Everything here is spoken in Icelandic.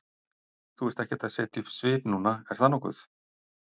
Þú ert ekkert að setja upp svip núna, er það nokkuð?